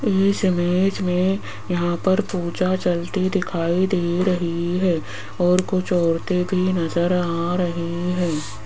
इस इमेज में यहां पर पूजा चलती दिखाई दे रही है और कुछ औरतें भी नजर आ रही हैं।